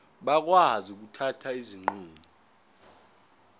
bakwazi ukuthatha izinqumo